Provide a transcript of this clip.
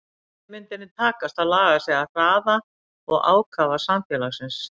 Hvernig myndi henni takast að laga sig að hraða og ákafa samfélagsins?